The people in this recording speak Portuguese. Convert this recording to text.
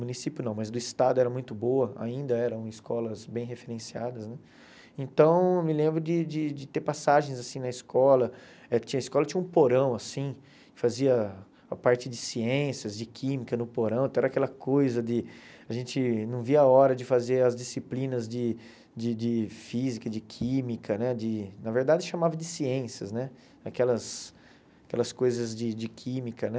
município não, mas do estado era muito boa, ainda eram escolas bem referenciadas, né, então me lembro de de de ter passagens assim na escola, tinha a escola tinha um porão assim, fazia a parte de ciências, de química no porão, até era aquela coisa de, a gente não via a hora de fazer as disciplinas de de de física, de química, né, de na verdade chamava de ciências, né, aquelas aquelas coisas de de química, né,